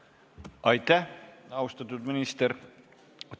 Aitäh, austatud minister!